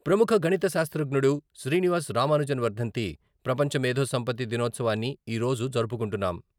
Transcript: ప్రముఖ గణిత శాస్త్రజ్ఞుడు శ్రీనివాస రామానుజన్ వర్ధంతి, ప్రపంచ మేథో సంపత్తి దినోత్సవాన్ని ఈరోజు జరుపుకుంటున్నాం.